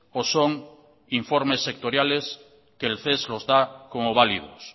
o son informes sectoriales que el ces los da como válidos